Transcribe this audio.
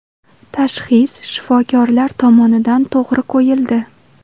Tashxis shifokorlar tomonidan to‘g‘ri qo‘yildi.